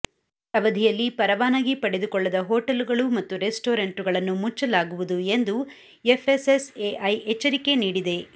ಈ ಅವಧಿಯಲ್ಲಿ ಪರವಾನಗಿ ಪಡೆದುಕೊಳ್ಳದ ಹೋಟೆಲುಗಳು ಮತ್ತು ರೆಸ್ಟೋರೆಂಟುಗಳನ್ನು ಮುಚ್ಚಲಾಗುವುದು ಎಂದು ಎಫ್ಎಸ್ಎಸ್ಎಐ ಎಚ್ಚರಿಕೆ ನೀಡಿದೆ